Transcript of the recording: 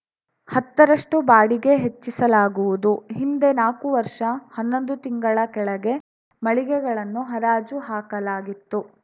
ಹತ್ತರಷ್ಟುಬಾಡಿಗೆ ಹೆಚ್ಚಿಸಲಾಗುವುದು ಹಿಂದೆ ನಾಲ್ಕು ವರ್ಷ ಹನ್ನೊಂದು ತಿಂಗಳ ಕೆಳಗೆ ಮಳಿಗೆಗಳನ್ನು ಹರಾಜು ಹಾಕಲಾಗಿತ್ತು